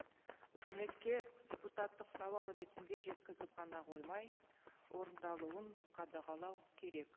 үкіметке депутаттық сауал ретінде жеткізіп қана қоймай орындалуын қадағалау керек